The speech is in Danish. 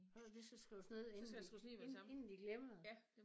Har noget der lige skal skrives ned inden de inden inden de glemmer det